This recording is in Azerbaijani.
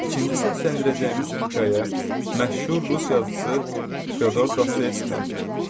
İkinci səsləndirəcəyimiz hekayə məşhur rus yazıçısı Feodor Dostoyevskidəndir.